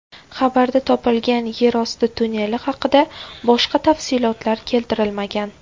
Xabarda topilgan yer osti tunneli haqida boshqa tafsilotlar keltirilmagan.